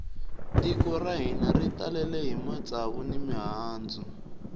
tiko ra hina ri talele hi matsava ni mihandzu